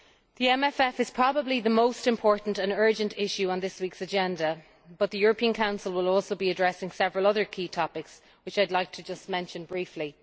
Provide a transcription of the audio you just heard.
The MFF is probably the most important and urgent issue on this week's agenda, but the European Council will also be addressing several other key topics, which I would like to mention briefly.